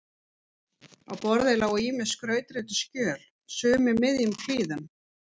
Á borði lágu ýmis skrautrituð skjöl, sum í miðjum klíðum.